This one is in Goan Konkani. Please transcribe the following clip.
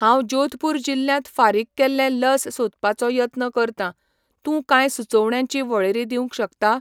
हांव जोधपूर जिल्ल्यांत फारीक केल्लें लस सोदपाचो यत्न करतां, तूं कांय सुचोवण्यांची वळेरी दिवंक शकता?